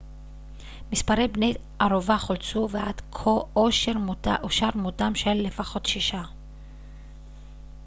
מספר בני ערובה חולצו ועד כה אושר מותם של לפחות שישה